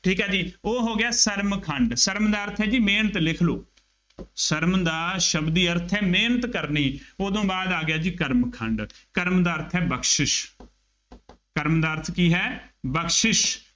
ਠੀਕ ਹੈ ਜੀ ਉਹ ਹੋ ਗਿਆ, ਸਰਮ ਖੰਡ, ਸਰਮ ਦਾ ਅਰਥ ਹੈ ਜੀ ਮਿਹਨਤ ਲਿਖ ਲਉ, ਸਰਮ ਦਾ ਸ਼ਬਦੀ ਅਰਥ ਹੈ, ਮਿਹਨਤ ਕਰਨੀ, ਉਦੋਂ ਬਾਅਦ ਆ ਗਿਆ ਜੀ, ਕਰਮ ਖੰਡ, ਕਰਮ ਦਾ ਅਰਥ ਹੈ ਬਖਸ਼ਿਸ਼ ਕਰਮ ਦਾ ਅਰਥ ਕੀ ਹੈ, ਬਖਸ਼ਿਸ਼